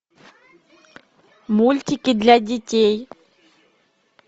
мультики для детей